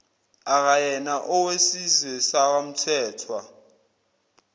akayena owesizwe sakwamthethwa